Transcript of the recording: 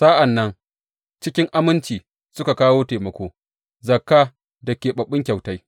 Sa’an nan cikin aminci suka kawo taimako, zakka da keɓaɓɓun kyautai.